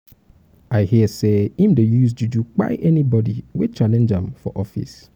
i um hear sey im dey use juju um kpai anybodi wey challenge wey challenge am for um office.